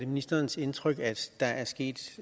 ministerens indtryk at der er sket